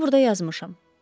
Onu burda yazmışam.